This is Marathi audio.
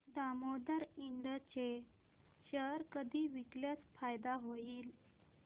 दामोदर इंड चे शेअर कधी विकल्यास फायदा होईल